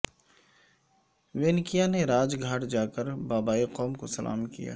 وینکیا نے راج گھاٹ جا کر بابائے قوم کو سلام کیا